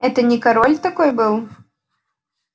это не король такой был